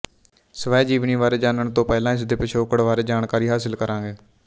ਸਵੈ ਜੀਵਨੀ ਬਾਰੇ ਜਾਣਨ ਤੋ ਪਹਿਲਾ ਇਸ ਦੇ ਪਿਛੋਕੜ ਬਾਰੇ ਜਾਣਕਾਰੀ ਹਾਸਿਲ ਕਰਾਂਗੇ